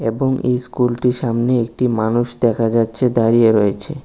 এবং এই স্কুলটির সামনে একটি মানুষ দেখা যাচ্ছে দাঁড়িয়ে রয়েছে।